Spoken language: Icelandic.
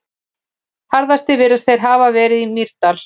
Harðastir virðast þeir hafa verið í Mýrdal.